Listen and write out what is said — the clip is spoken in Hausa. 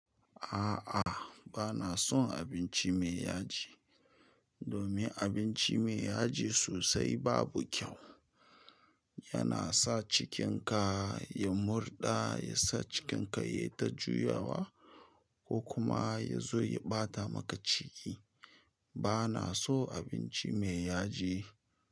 A'a, ba na son abinci mai yaji. Domin abinci mai yaji sosai babu kyau. Yana sa cikinka ya murɗa, ya sa cikinka ya yi ta juyawa ko kuma ya zo ya ɓata maka ciki. Ba na so abinci mai yaji.